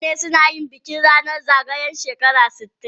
Mutane suna yin bikin ranan zagayan shekara sitin.